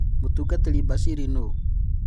Mũtungatĩri Bashiri nũũ ?